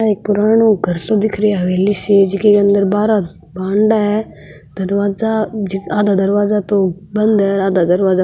ओ एक पुरानो घर सो दिख रहे है हवेली सी जीके अंदर बारा बांदा है दरवाजा आधा दरवाजा तो बंद है आधा दरवाजा --